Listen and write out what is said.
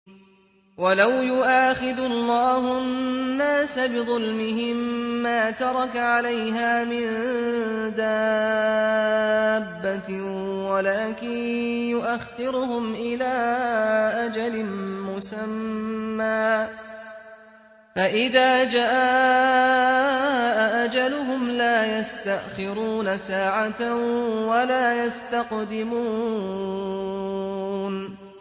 وَلَوْ يُؤَاخِذُ اللَّهُ النَّاسَ بِظُلْمِهِم مَّا تَرَكَ عَلَيْهَا مِن دَابَّةٍ وَلَٰكِن يُؤَخِّرُهُمْ إِلَىٰ أَجَلٍ مُّسَمًّى ۖ فَإِذَا جَاءَ أَجَلُهُمْ لَا يَسْتَأْخِرُونَ سَاعَةً ۖ وَلَا يَسْتَقْدِمُونَ